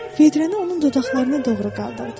Vedrəni onun dodaqlarına doğru qaldırdım.